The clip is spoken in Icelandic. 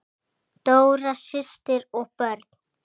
Dóra systir og börn.